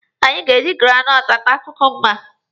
Anyị ga-eji granọtụ ata kukumba.